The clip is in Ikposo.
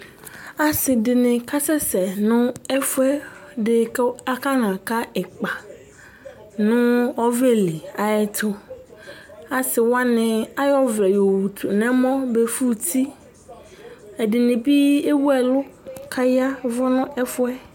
Asidini kasɛsɛ nu ɛfu ɛdi ku akanaka ikpa nu ɔvlɛli ayɛtu Asiwani ayɔ ɔvlɛ yɔwutu nu ɛmɔ befu uti Ɛdini bi ewu ɛlu ku aya ɛvu nu ɛfuɛ